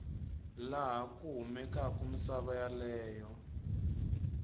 laha ku kumekaku misava yeleyo